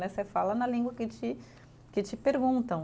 Mas você fala na língua que te, que te perguntam.